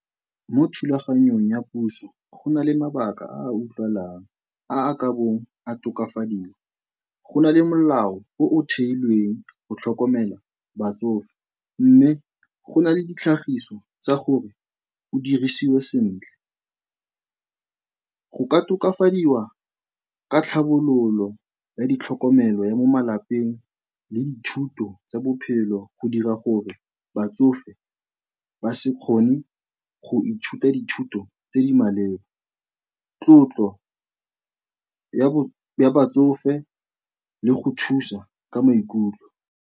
Mo thulaganyong ya puso go na le mabaka a a utlwalang, a a ka bong a tokafadiwa. Go na le molao o o theilweng go tlhokomela batsofe mme go na le ditlhagiso tsa gore o dirisiwe sentle. Go ka tokafadiwa ka tlhabololo ya ditlhokomelo ya mo malapeng le dithuto tsa bophelo go dira gore batsofe ba se kgone go ithuta dithuto tse di maleba, tlotlo ya batsofe le go thusa ka maikutlo.